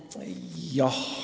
Jah.